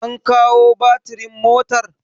an kawo batirin motar!